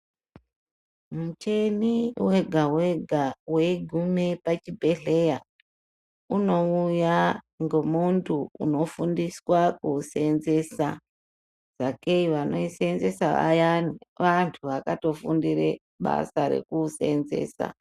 Muchini wega weha weiguma pachibhehleya unouya ngemuntu unofundiswa kuwusenzesa sakei vanoisenzesa vayani vantu vakatofundira basa rekuwusenzesa.